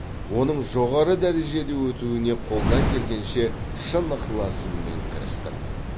оның жоғары дәрежеде өтуіне қолдан келгенше шын ықыласыммен кірістім